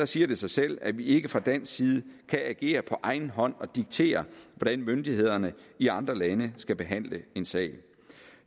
siger det sig selv at vi ikke fra dansk side kan agere på egen hånd og diktere hvordan myndighederne i andre lande skal behandle en sag